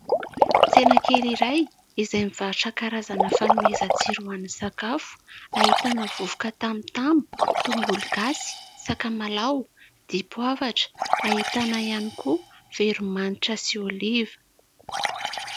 Tsena kely iray izay mivarotra karazana fanomezan-tsiro ho an'ny sakafo, ahitana vovoka tamotamo, tongolo gasy, sakamalao, dipoavatra. Ahitana ihany koa veromanitra sy oliva.